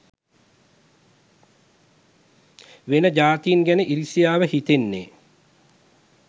වෙන ජාතීන් ගැන ඉරිසියාව හිතෙන්නේ